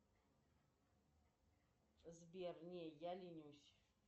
сбер не я ленюсь